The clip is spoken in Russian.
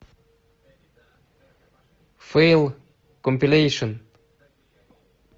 фейл компилейшен